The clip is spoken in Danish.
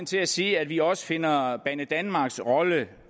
til at sige at vi også finder banedanmarks rolle